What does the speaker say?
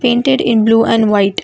ended in blue and white--